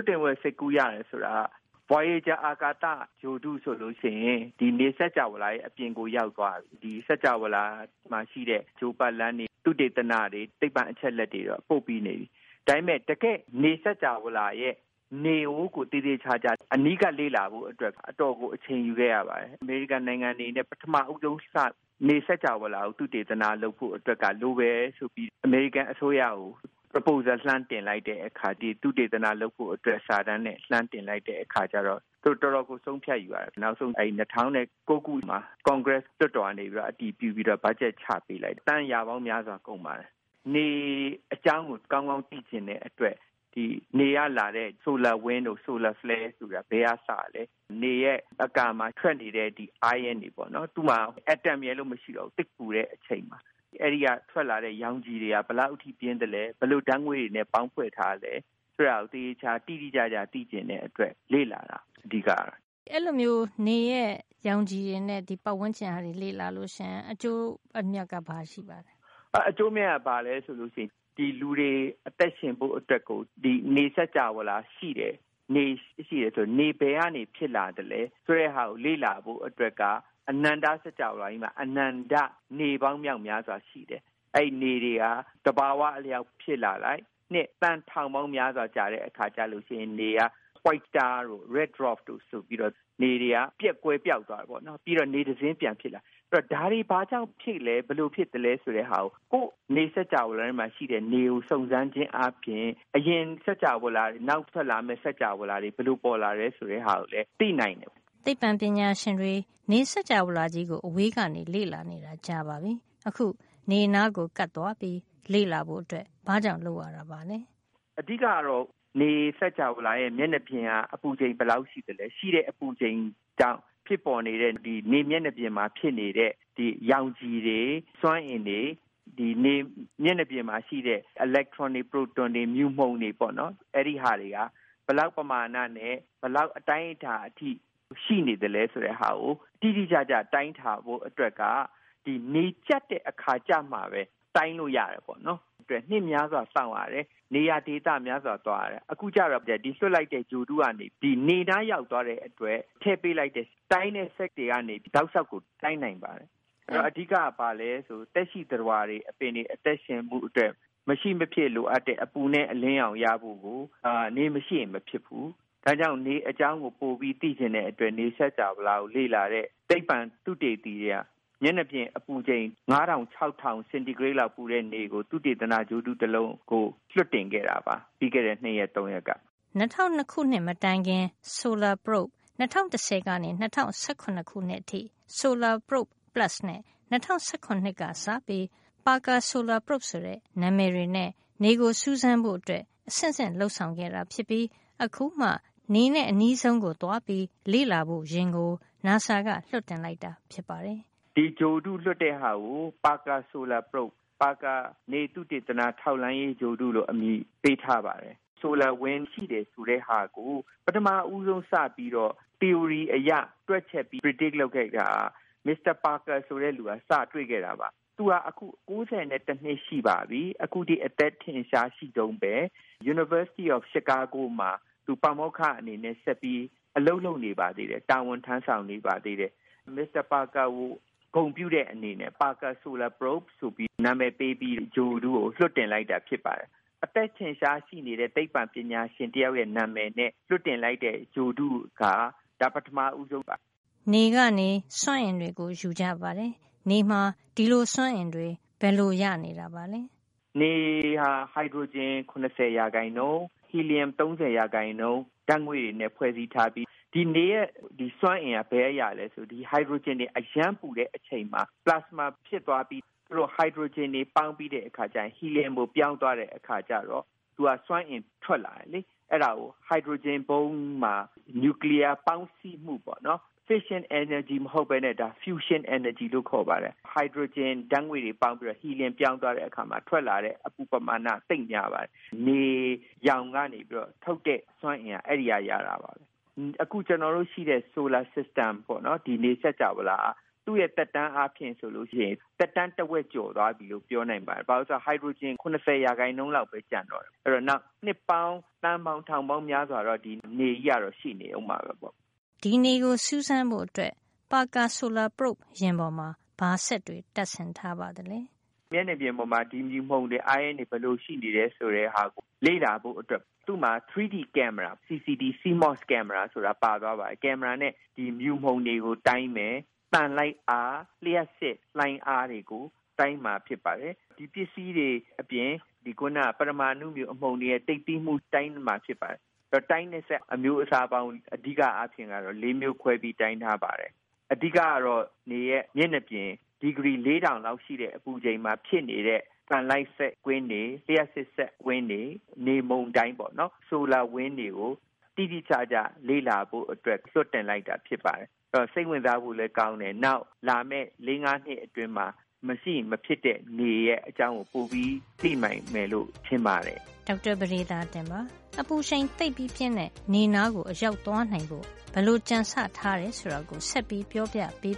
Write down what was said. တ်တင်ဖို့ စိတ်ကူး ရတယ် ဆိုတာက- အရင် voyager အာကာသ ဂြိုဟ်တုဆို ရင် နေစကြာဝဌာရဲ့ အပြင်ကို ရောက်သွားပြီ။ နေစကြာဝဌာမှာ ရှိတဲ့ ဂြိုဟ်ပတ်လမ်းတွေ၊ သုတေသနတွေ၊ သိပ္ပံအချက်အလက်တွေတော့ ပို့ပြီးသွားပြီ။ ဒါပေမယ့် တကယ့် နေစကြာဝဌာရဲ့ နေကိုတော့ သေသေချာချာ အနီးကပ်လေ့လာဖို့ အတွက်ကို တော်တော်ကို အချိန်ယူခဲ့ရပါတယ်။ အမေရိကန်နိုင်ငံအနေနဲ့ ပထမဦးဆုံး စပြီး နေစကြာဝဌာကို သုတေသနလုပ် ဖို့ အတွက်က လိုတယ်ဆိုပြီး အမေရိကန် အစိုးရကို proposal လှမ်းတင်လိုက်တဲ့ အခါ ဒီသုတေသန လုပ်ဖို့ အတွက် စာတမ်းနဲ့ လှမ်းတင်လိုက်တဲ့ အခါကျတော့ သူတို့ တော်တော်ကို ဆုံးဖြတ်ယူရတယ်။ နောက်ဆုံး ၂၀၀၉ ခုမှာ ကွန်ဂရက် လွှတ်တော်မှာ အတည်ပြုပြီးတော့ ဘတ်ဂျက်ချ ပေးတယ်။ သန်းရာပေါင်းများစွာ ကုန်ပါတယ်။ နေ အကြောင်းကို ကောင်းကောင်းသိချင်တဲ့ အတွက် နေကလာတဲ့ ဆိုလာ wind တို့ ဆိုလာ flare တို့ဆိုတာ ဘယ်ကလာလဲ၊ နေရဲ့ အကာမှာ ထွက်နေတဲ့ ion တွေပေါ့နော်။ သူ့မှာ အက်တမ်ရယ်လို့ မရှိဘူး။ သိပ်ကို ပူတဲ့ အချိန် အဲဒီက ရောင်ခြည်တွေက ဘယ်လောက် ရှိသလဲ၊ ဘယ်လို ဓါတ်ငွေ့တွေနဲ့ ပေါင်းထားသလဲ၊ ဆိုတာကို သေသေချာချာ တိတိကျကျ သိချင်တဲ့အတွက် လေ့လာတာ ဖြစ်ပါတယ်။” အဲဒီလို နေရဲ့ ရောင်ခြည်တွေနဲ့ ပတ်ဝန်းကျင်ကို လေ့လာရင် ဘာအကျိုးရှိပါသလဲ “အကျိုးအမြတ်က ဘာရှိမလဲ ဆိုရင် လူတွေ အသက်ရှင်ဖို့ အတွက် နေစကြာဝဌာရှိတယ်၊ နေရှိတယ် ဆိုတော့ နေဘယ်ကနေ ဖြစ်လာသလဲ ဆိုတဲ့ဟာကို လေ့လာဖို့ အတွက်က အနန္တ စကြာဝဌာကြီးမှာ အနန္တ နေပေါင်း မြောက်များစွာ ရှိတယ်။ အဲဒီနေတွေဟာ သဘဝ အလျှောက် ဖြစ်လာလိုက် နှစ် သန်းထောင်ပေါင်းများစွာ ကြာတဲ့ အခါကျလို့ရှိရင် နေက white star တို့ red dwarf တို့ ဆိုပြီးတော့ နေတွေက ကွယ်ပျောက်သွားတယ်။ ပြီးတော့ နေတစင်း ပြန်ဖြစ်လာ တယ်။ အဲဒီတော့ ဒါတွေ ဘာကြောင့်ဖြစ်လာသလဲ။ ဘယ်လိုဖြစ်သလဲ၊ ဆိုတဲ့ဟာကို ကိုယ့် နေစကြာဝဌာ ထဲမှာ ရှိတဲ့နေကို စုံစမ်းခြင်းဖြင့် အရင်စကြာဝဌာတွေ၊ နောက် ဖြစ်လာမယ့် စကြာဝဌာတွေ ဘယ်လို ပေါ်လာသလဲ ဆိုတာကိုလည်း သိနိုင်တယ်။ အဓိကကတော့ ဒါပါပဲ။” သိပ္ပံပညာရှင်တွေ နေစကြာဝဌာကြီးကို အဝေးက လေ့လာနေတာ ကြာပါပြီ။ အခု နေနားကို ကပ်သွားပြီး လေ့လာဖို့ ဘာကြောင့် လုပ်ရတာပါလဲ။ “နေစကြာဝဌာရဲ့ မျက်နှာပြင်က အပူချိန် ဘယ်လောက် ရှိသလဲ၊ ရှိတဲ့အပူချိန်ကြောင့် ဖြစ်ပေါ်နေတဲ့ နေမျက်နှာပြင်မှာ ဖြစ်နေတဲ့ ရောင်ခြည်တွေ၊ စွမ်းအင်တွေ၊ နေမျက်နှာပြင်မှာ ရှိတဲ့ အီလက်ထရွန်တွေ၊ ပရိုတွန်တွေ၊ မြူမှုန်တွေဟာ ဘယ်လောက်ပမာဏနဲ့ ဘယ်လောက် အတိုင်းတာအထိ ရှိနေသလဲ ဆိုတာကို တိတိကျကျ တိုင်းတာဖို့အတွက်က ဒီနေကြပ်တဲ့ အခါ ကျမှပဲ တိုင်းလို့ရတယ်။ အဲဒါအတွက် နှစ်များစွာစောင့်ရတယ်၊ နေရာဒေသ များစွာကို သွားရတယ်၊ အခုကျတော့ ဒီလွှတ်လိုက်တဲ့ ဂြိုဟ်တုက နေပြီး နေနားရောက်သွားတဲ့ အခါ မှာ ထည့်ပေးလိုက်တဲ့ တိုင်းတဲ့ စက်ကရိယာတွေကနေ တောက်လျှောက် တိုင်းနိုင်ပါတယ်။ အဲဒီတော့ အဓိကက သက်ရှိသတ္တဝါတွေ၊ အပင်တွေ အသက်ရှင်ဖို့ အတွက် မရှိမဖြစ်လိုအပ်တဲ့ အပူနဲ့ အလင်းရောင် ရဖို့ကို နေမရှိရင် မဖြစ်ဖူး။ ဒါကြောင့် နေအကြောင်းကို ပိုပြီး သိချင်တဲ့အတွက်ကြောင့် နေစကြာဝဌာကို လေ့လာတဲ့ သိပ္ပံသုတေသီတွေက မျက်နှာပြင် အပူချိန် ၅၀၀၀ - ၆၀၀၀ စင်တီဂရိတ် လောက် ပူတဲ့နေကို သုတေသန ဂြိုဟ်တု တလုံးကို လွှတ်တင်ခဲ့တာပါ။ ပြီးခဲ့တဲ့ ၂ ရက် ၃ ရက်က။” ၂၀၀၂ ခုနှစ် မတိုင်ခင် Solar Probe ၂၀၁၀ ကနေ ၂၀၁၇ အထိ Solar Probe Plus နဲ့ ၂၀၁၇ က စပြီး Parker Solar Probe ဆိုတဲ့ နံမယ်တွေနဲ့ နေကိုစူးစမ်းဖို့အတွက် အဆင့်ဆင့် လုပ်ဆောင် ခဲ့တာ ဖြစ်ပြီး အခုမှ နေနဲ့ အနီးဆုံး ကိုသွားပြီး လေ့လာဖို့ ယဉ်ကို နာဆာက လွှတ်တင်လိုက်တာ ဖြစ်ပါတယ်။ “ဒီဂြိုဟ်တု လွှတ်တဲ့ဟာကို Parker Solar Probe - ပါကာ နေသုတေသန ထောက်လှန်းရေးဂြိုဟ်တု လို့ အမည်ပေးထားပါတယ်။ ဆိုလာ wind ရှိတယ် ဆိုတဲ့ဟာကို ပထမဦးဆုံး စပြီးတော့ သီအိုရီ အရ တွက်ချက်ပြီး predict လုပ် ခန့်မှန်းခဲ့တာက Eugene Parker ဖြစ်ပါတယ်။ သူဟာ အခု အသက် ၉၁ နှစ် ရှိပါပြီ။ အခုထိ အသက်ထက်ရှား ရှိတုန်းပဲ။ Chicago တက္ကသိုလ် မှာ ပါမောက္ခ အနေနဲ့ ဆက်ပြီး အလုပ်လုပ်နေပါ သေးတယ်။ မစ္စတာ ပါကာကို ဂုဏ်ပြုတဲ့ အနေနဲ့ Parker Solar Probe လို့ နံမယ်ပေးပြီး ဂြိုဟ်တုကို လွှတ်တင်လိုက်တာ ဖြစ်ပါတယ်။ အသက်ထင်ရှား ရှိနေတဲ့ သိပ္ပံပညာရှင်တယောက်ရဲ့ နံမယ်နဲ့ လွှတ်တင်လိုက်တဲ့ ဂြိုဟ်တုက ဒါ ပထမ ဦးဆုံးပါ။” နေကနေ စွမ်းအင်တွေကို ယူကြပါတယ်။ နေမှာ ဒီလို စွမ်းအင်တွေ ဘယ်လိုရနေတာပါလဲ။ “နေဟာ ဟိုက်ဒရိုဂျင် ၇၀% ဟီလီယမ် ၃၀ % ဓါတ်ငွေ့တွေနဲ့ ဖွဲ့စည်းထားပြီး၊ ဒီနေရဲ့ စွမ်းအင်က ဘယ်ကရသလဲ ဆိုရင် ဒီ ဟိုက်ဒရိုဂျင် အရမ်းပူနေတဲ့ အချိန်မှာ ပလာစမာ ဖြစ်သွားပြီး အဲဒီဟိုက်ဒရိုဂျင်တွေ ပေါင်းပြီး ဟီလီယမ်ကို ပြောင်းသွားတဲ့အခါ ကျတော့ သူက စွမ်းအင်တွေ ထွက်လာတယ်။ အဲဒါကို ဟိုက်ဒရိုဂျင်ဗုံးမှာ နျူကလီယား ပေါင်းစည်းမှု ပေါ့နော်။ fission energy မဟုတ်ပဲ fusion energy လို့ ခေါ်ပါတယ်။ ဟိုက်ဒရိုဂျင် ဓါတ်ငွေ့တွေ ပေါင်းပြီးတော့ ဟီလီယံ ပြောင်းသွားတဲ့ အခါ ထွက်လာတဲ့ ဓါတ်ငွေ့ပမာဏက သိပ်များပါတယ်။ နေရောင်ကနေ ပြီးတော့ ထုတ်တဲ့ စွမ်းအင်က အဲဒီကနေ ရတာပါပဲ။” “အခု ရှိတဲ့ ကျွန်တော်တု့ိရဲ့ solar system နေစကြာဝဌာဟာ သူ့ရဲ့ သက်တမ်းအားဖြင့် ဆိုရင် သက်တမ်းက တဝက်ကျော် သွားပြီလို့ ပြောနိုင်ပါတယ်။ ဘာဖြစ်လို့လည်း ဆိုတော့ သူက ဟိုက်ဒရိုဂျင် ၇၀ % လောက်ပဲ ကျန်တော့တယ်။ အဲဒီတော့ နောက် နှစ်ပေါင်း သန်းပေါင်း ထောင်ပေါင်း များစွာ အထိတော့ ဒီနေကြီးက ရှိနေအုံးမှာပဲ။” ဒီနေကိုစူးစမ်းဖို့ Parker solar probe ယာဉ်ပေါ်မှာ ဘာစက်တွေ တပ်ဆင်ထားပါသလဲ။ “မျက်နှာပြင်ပေါ်မှာ ဒီ မြူမှုန်တွေ၊ အိုင်းယွန်းတွေ ဘယ်လို ရှိနေတယ် ဆိုတဲ့ဟာကို လေ့လာဖို့အတွက် သူ့မျာ 3D ကင်မရာ CCD / CMOS ကင်မရာ CMOS ဆိုတာ ပါသွားပါတယ်။ ဒီကင်မရာနဲ့ မြူမှုန်တွေကို တိုင်းမယ်၊ သံလိုက်အား၊ လျှပ်စစ်လှိုင်းအား တွေကို တိုင်းမှာ ဖြစ်ပါတယ်။ အဲဒီစက်ပစ္စည်းတွေ အပြင် ပရမာ အဏုမြူ အမှုန်တွေရဲ့ သိပ်သည်းမှုကိုပါ တိုင်းမှာ ဖြစ်ပါတယ်။ ဒီလို တိုင်းတဲ့ စက်အမျိုးအစားပေါင်း အဓိက အားဖြင့်က ၄ မျိုးခွဲပြီး တိုင်းထားပါတယ်။ အဓိက ကတော့ နေရဲ့ မျက်နှာပြင် အပူချိန် ဒီဂရီ ၄၀၀၀ လောက်ရှိတဲ့ အပူချိန်မှာ ဖြစ်နေတဲ့ သံလိုက်စက်ကွင်းတွေ၊ လျှပ်စစ် စက်ကွင်းတွေ၊ နေမုန်တိုင်းပေါ့နော် solar wind တွေ ကို တိတိကျကျ လေ့လာဖို့ အတွက် လွှတ်တင်လိုက်တာ ဖြစ်ပါတယ်။ ဒါဟာ စိတ်ဝင်စားဖို့လည်း ကောင်းတယ်၊ နောက်လာမယ့် ၄ -၅ နှစ်အတွင်း မရှိမဖြစ်နေရဲ့ အကြောင်းကို ပိုပြီး သိလာနိုင်မယ်လို့ ထင်ပါတယ်။” ဒေါက်တာ ပဒေသာတင်ပါ။ အပူရှိန် သိပ်ပြီးပြင်းတဲ့ နေနားကို အရောက်သွား နိုင်ဖို့ ဘယ်လို ကြံဆထားတယ် ဆိုတာကို နောက်တပတ်မှာ ဆက်ပြီး ပြောပြပေး